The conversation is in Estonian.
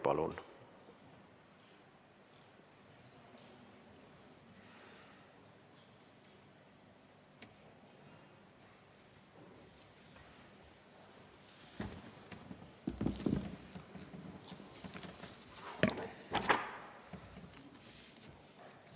Palun!